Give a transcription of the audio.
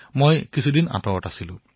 আজি মোৰ মন আনন্দেৰে ভৰি পৰিছে